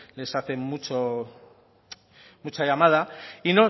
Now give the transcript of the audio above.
les hacen mucha llamada